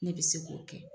Ne bɛ se k'o kɛ